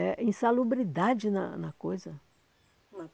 é insalubridade na na coisa.